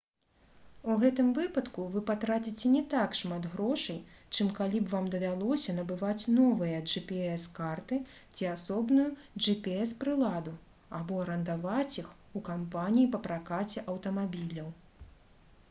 у гэтым выпадку вы патраціце не так шмат грошай чым калі б вам давялося набываць новыя gps-карты ці асобную gps-прыладу або арандаваць іх у кампаніі па пракаце аўтамабіляў